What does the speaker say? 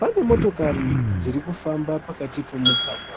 Pane motokari dziri kufamba pakati pomugwagwa.